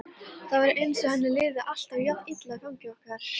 Það var eins og henni liði alltaf jafn illa í fangi okkar.